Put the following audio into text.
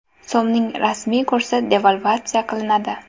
So‘mning rasmiy kursi devalvatsiya qilinadi.